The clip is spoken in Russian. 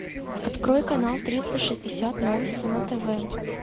открой канал триста шестьдесят новости на тв